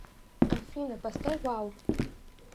афина поставь вау